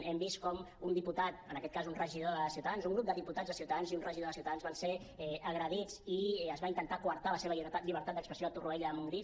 hem vist com un diputat en aquest cas un regidor de ciutadans un grup de diputats de ciutadans i un regidor de ciutadans van ser agredits i es va intentar coartar la seva llibertat d’expressió a torroella de montgrí